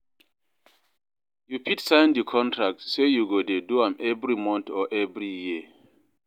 You fit sign di contract say you go de do am every month or every year